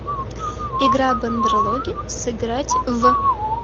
игра бандерлоги сыграть в